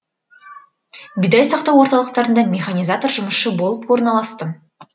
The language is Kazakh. бидай сақтау орталықтарында механизатор жұмысшысы болып орналастым